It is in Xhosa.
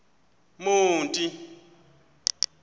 monti